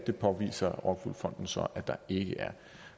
det påviser rockwool fonden så at der ikke er